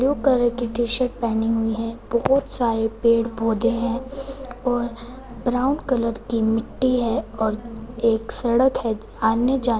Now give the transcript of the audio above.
blue colour की T-shirt पहनी हुई है बहुत सारे पेड़ पौधे हैं और ब्राउन कलर की मिट्टी है और एक सड़क है आने जाने --